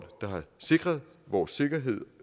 der har sikret vores sikkerhed